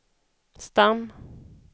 stam